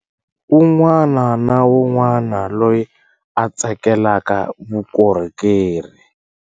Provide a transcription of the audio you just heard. Un'wana na un'wana loyi a tsakelaka vukorhokeri.